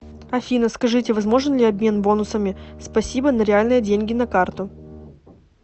афина скажите возможен ли обмен бонусами спасибо на реальные деньги на карту